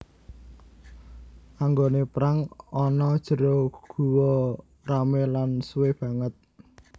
Anggoné perang ana jero guwa ramé lan suwé banget